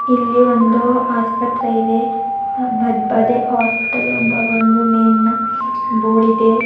ಇಲ್ಲಿ ಒಂದು ಆಸ್ಪತ್ರೆ ಇದೆ ಬದ್ಬದೆ ಹಾಸ್ಪಿಟಲ್ ಎಂಬ ಒಂದು ನೇಮ್ ನ ಬೋರ್ಡ್ ಇದೆ.